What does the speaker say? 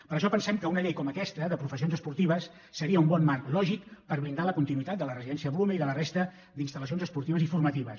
per això pensem que una llei com aquesta de professions esportives seria un bon marc lògic per blindar la continuïtat de la residència blume i de la resta d’instal·lacions esportives i formatives